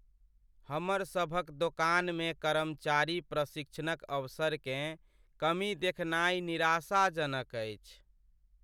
हमर सभक दोकानमे कर्मचारी प्रशिक्षणक अवसरकेँ कमी देखनाय निराशाजनक अछि।